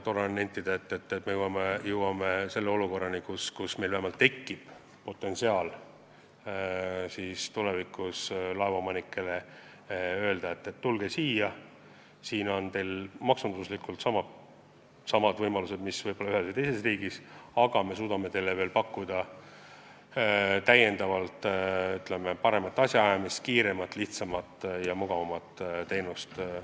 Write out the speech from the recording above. Tore on nentida, et me jõuame olukorrani, kus me saame laevaomanikele öelda, et tulge Eesti lipu alla, siin on teil maksunduslikult samad võimalused, mis mõnes teises riigis, aga me suudame teile pakkuda paremat asjaajamist, kiiremat, lihtsamat ja mugavamat teenust.